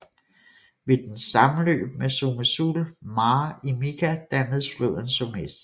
Ved dens sammenløb med Someșul Mare i Mica dannes floden Someș